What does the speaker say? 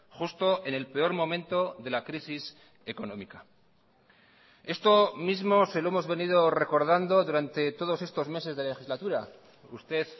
justo en el peor momento de la crisis económica esto mismo se lo hemos venido recordando durante todos estos meses de legislatura usted